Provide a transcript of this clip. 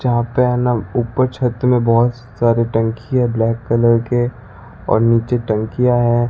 जहां पर है ना ऊपर छत में बहोत सारे टंकी है ब्लैक कलर के और नीचे टंकिया है।